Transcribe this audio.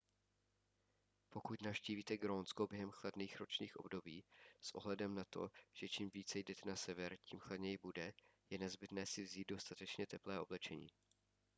pokud navštívíte grónsko během chladných ročních období s ohledem na to že čím více jdete na sever tím chladněji bude je nezbytné vzít si dostatečně teplé oblečení